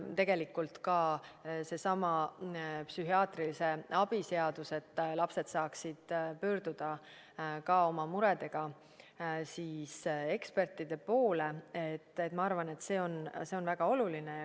Tegelikult ka seesama psühhiaatrilise abi seadus, et lapsed saaksid pöörduda oma muredega ekspertide poole, ma arvan, et see on väga oluline.